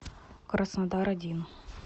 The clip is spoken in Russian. краснодар один